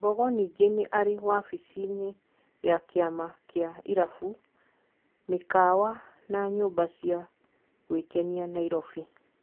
Mbogo ningĩ nĩ arĩ wabici-inĩ ya kĩama kĩa irabũ , mĩkawa na nyũmba cia gwĩkenia ,Nairobi.